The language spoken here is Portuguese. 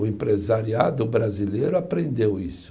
O empresariado brasileiro aprendeu isso.